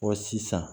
Ɔ sisan